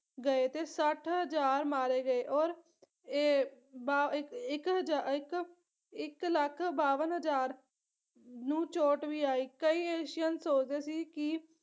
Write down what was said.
ਗਏ ਤੇ ਸੱਠ ਹਜ਼ਾਰ ਮਾਰੇ ਗਏ ਔਰ ਏ ਬਾ ਇੱਕ ਇੱਕ ਹਜਾ ਇੱਕ ਇੱਕ ਲੱਖ ਬਾਵਨ ਹਜ਼ਾਰ ਨੂੰ ਚੋਟ ਵੀ ਆਈ ਕਈ ਏਸ਼ੀਅਨ ਸੋਚਦੇ ਸੀ ਕੀ